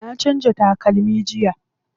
Na canza takalmi jiya.